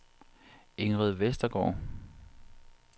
Ingrid Vestergaard